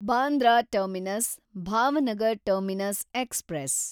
Bandra terminus Bhavnagar terminus express